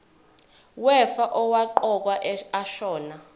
wefa owaqokwa ashona